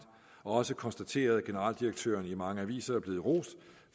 og også konstateret at generaldirektøren i mange aviser er blevet rost